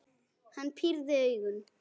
Hann pírði augun.